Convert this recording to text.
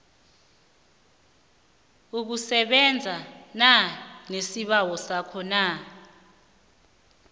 ukusebenzana nesibawo sakho